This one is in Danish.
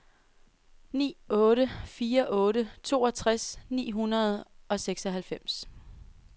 ni otte fire otte toogtres ni hundrede og seksoghalvfems